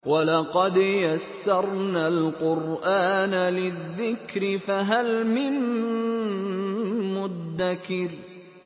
وَلَقَدْ يَسَّرْنَا الْقُرْآنَ لِلذِّكْرِ فَهَلْ مِن مُّدَّكِرٍ